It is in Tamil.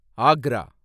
ஆக்ரா